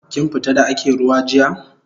Kin fita da ake ruwa jiya?